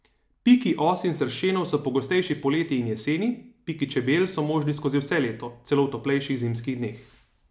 Piki os in sršenov so pogostejši poleti in jeseni, piki čebel so možni skozi vse leto, celo v toplejših zimskih dneh.